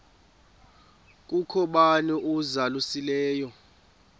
kukho bani uzalusileyo